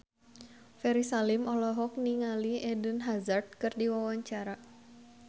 Ferry Salim olohok ningali Eden Hazard keur diwawancara